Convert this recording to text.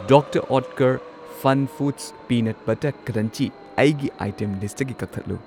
Doctor Oetker FunFoods peanut butter crunchy ꯑꯩꯒꯤ item ꯂꯤꯁꯠꯇꯒꯤ ꯀꯛꯊꯠꯂꯨ꯫